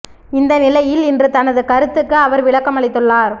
இந்த நிலையில் இன்று தனது கருத்துக்கு அவர் விளக்கம் அளித்துள்ளார்